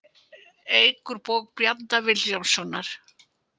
Eik úr bók Bjarna Vilhjálmssonar